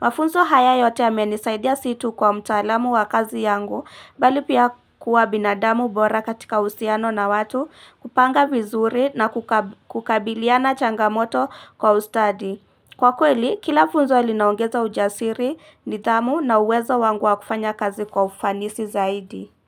Mafunzo haya yote yamenisaidia sio tu kwa mtaalamu wa kazi yangu, bali pia kuwa binadamu bora katika uhusiano na watu, kupanga vizuri na kukabiliana changamoto kwa ustadi. Kwa kweli, kila funzo ilinaongeza ujasiri, nidhamu na uwezo wangu wa kufanya kazi kwa ufanisi zaidi.